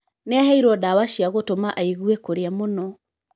Nĩ aheirwo ndawa cia gũtũma aigue kũrĩa mũno.